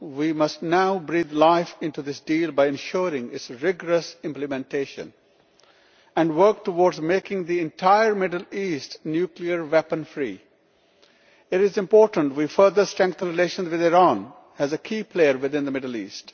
We must now breathe life into this deal by ensuring its rigorous implementation, and work towards making the entire Middle East nuclear weapon free. It is important that we further strengthen relations with Iran as a key player within the Middle East.